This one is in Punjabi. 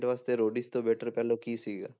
ਵਾਸਤੇ ਰੋਡੀਜ ਤੋਂ better ਪਹਿਲਾਂ ਕੀ ਸੀਗਾ।